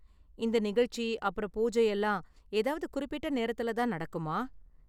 இந்த நிகழ்ச்சி அப்பறம் பூஜை எல்லாம் ஏதாவது குறிப்பிட்ட நேரத்துல தான் நடக்குமா?